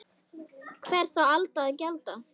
Hvers á Alda að gjalda?